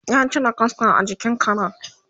ya cire kaska a jikin Karen